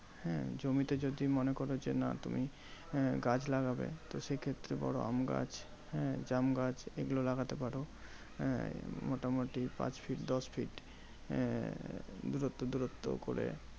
হ্যাঁ জমিতে যদি মনে করো যে, না তুমি আহ গাছ লাগাবে। তো সেই ক্ষেত্রে বড় আমগাছ হ্যাঁ জামগাছ এগুলো লাগাতে পারো। আহ মোটামুটি পাঁচ feet দশ feet আহ দূরত্ব দূরত্ব করে